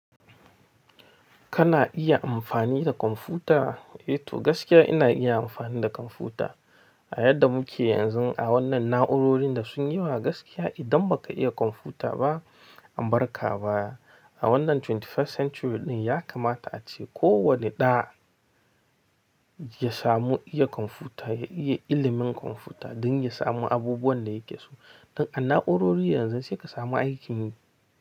Kana iya amfani da kwamfuta? E to gaskiya ina iya amfani da kwamfuta. A yadda muke yanzu a wannan na'urorin da sun yi wa gaskiya idan baka iya kwamfuta ba, ambarka ba. A wannan 21st century ɗin ya kamata ace kowane ɗa ya samu iya kwamfuta, ya iya ilimin kwamfuta don ya samu abubuwan da yake so. Don a na'urori yanzu sai ka samu aiki yi.